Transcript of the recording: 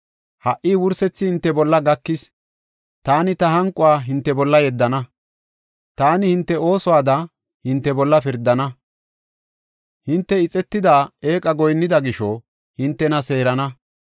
Ha77i, wursethi hinte bolla gakis; taani ta hanquwa hinte bolla yeddana. Taani hinte oosuwada, hinte bolla pirdana; hinte ixetida eeqa goyinnida gisho hintena seerana.